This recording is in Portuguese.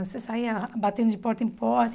Você saia batendo de porta em porta.